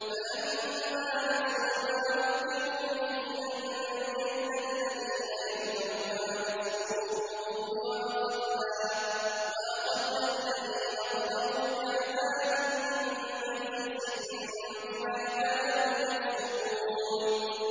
فَلَمَّا نَسُوا مَا ذُكِّرُوا بِهِ أَنجَيْنَا الَّذِينَ يَنْهَوْنَ عَنِ السُّوءِ وَأَخَذْنَا الَّذِينَ ظَلَمُوا بِعَذَابٍ بَئِيسٍ بِمَا كَانُوا يَفْسُقُونَ